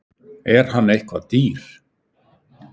Er hann eitthvað dýr?